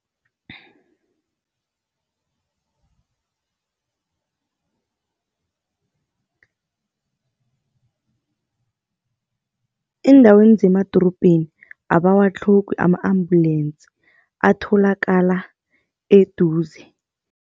Eendaweni zemadorobheni abawatlhogi ama-ambulensi, atholakala eduze.